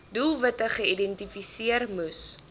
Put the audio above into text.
doelwitte geïdentifiseer moes